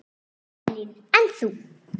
Elín: En þú?